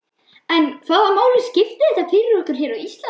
En hvaða máli skiptir þetta fyrir okkur hér á Íslandi?